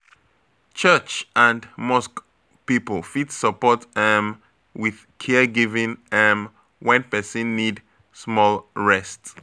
Church and mosque people fit support um with caregiving um when person need small rest.